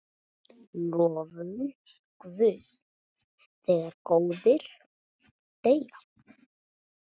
Lofum Guð þegar góðir deyja.